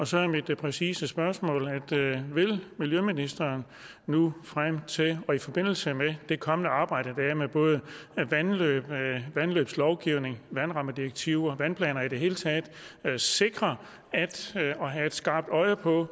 så er mit præcise spørgsmål vil miljøministeren nu frem til og i forbindelse med det kommende arbejde der er med både vandløb vandløbslovgivning vandrammedirektiver og vandplanerne i det hele taget sikre og have et skarpt øje på